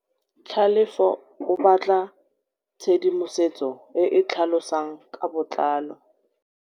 Tlhalefô o batla tshedimosetsô e e tlhalosang ka botlalô.